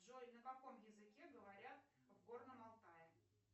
джой на каком языке говорят в горном алтае